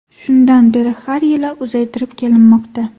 Shundan beri har yili uzaytirib kelinmoqda.